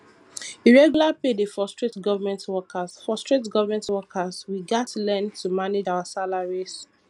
irregular pay dey frustrate government workers frustrate government workers we gats learn to manage our salaries